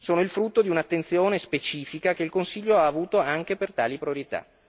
è il frutto di un'attenzione specifica che il Consiglio ha avuto anche per tali priorità.